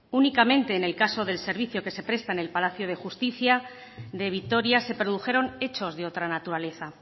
únicamente en el caso del servicio que se presta en el palacio de justicia de vitoria se produjeron hechos de otra naturaleza